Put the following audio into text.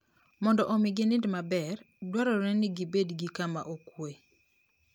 Mondo omi ginind maber, dwarore ni gibed gi kama okuwe.